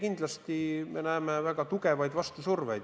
Aga ei, me näeme ka väga tugevat vastusurvet.